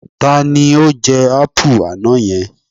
Ta ni ó jẹ ápù àná yẹn?